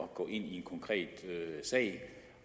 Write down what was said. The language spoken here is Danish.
gå ind i en konkret sag